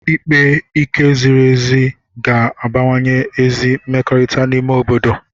Ikpe ike ziri ezi ga-abawanye ezi mmekọrịta n'ime obodo